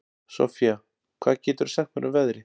Soffía, hvað geturðu sagt mér um veðrið?